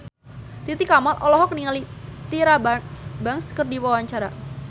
Titi Kamal olohok ningali Tyra Banks keur diwawancara